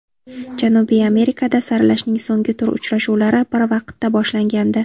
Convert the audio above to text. Janubiy Amerikada saralashning so‘nggi tur uchrashuvlari bir vaqtda boshlangandi.